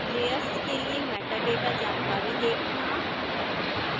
layers के लिए metadata जानकारी देखना